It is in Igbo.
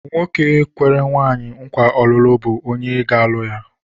Nwoke kwere nwaanyị nkwa ọlụlụ bụ onye ọ ga-alụ.